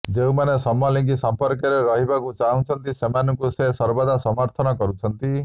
ଯେଉଁମାନେ ସମଲିଙ୍ଗୀ ସମ୍ପର୍କରେ ରହିବାକୁ ଚାହୁଁଛନ୍ତି ସେମାନଙ୍କୁ ସେ ସର୍ବଦା ସମର୍ଥନ କରୁଛନ୍ତି